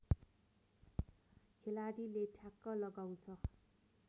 खेलाडीले ठ्याक लगाउँछ